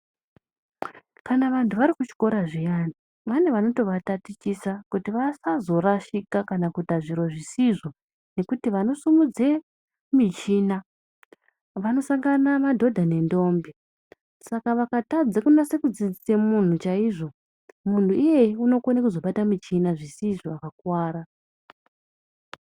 Kana vantu vari kuchikora zviyani, vane vanotovatatichisa kuti vasazorashika kana kuita zviro zvisizvo, ngekuti vanosimudze michina vanosangana madhodha nendombi. Saka vakatadze kunase kudzidzise munhu chaizvo, munhu iyeyu unokone kuzobata muchina zvisizvo akakuwara.